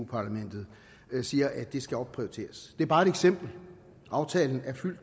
parlamentet siger at det skal opprioriteres det er bare et eksempel aftalen er fuld